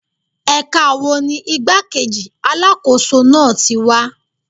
Ẹ̀ka wo ni igbá-kejì Alákóso náà tí wá?